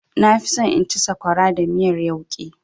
Na fi so in ci sakwara da miyar yauƙi.